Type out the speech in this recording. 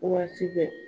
Waati bɛɛ